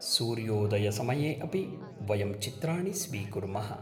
सूर्योदयसमये अपि वयं चित्राणि स्वीकुर्मः